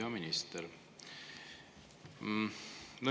Hea minister!